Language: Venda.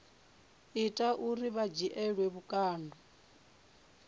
ita uri vha dzhielwe vhukando